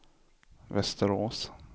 Västerås